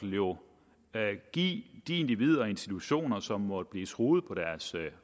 jo give de individer og institutioner som måtte blive truet på deres